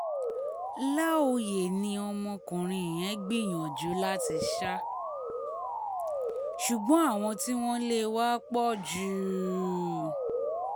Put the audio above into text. láòyé ni ọmọkùnrin yẹn gbìyànjú láti sá ṣùgbọ́n àwọn tí wọ́n lé e wá pọ̀ jù